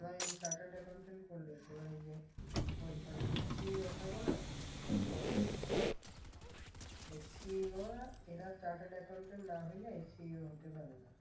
তোমার এই যে chartered accountant করলে এবার ওই যে company তে CEO থাকে না? এই CEO রা এরা chartered accountant না হইলে CEO হতে পারে না।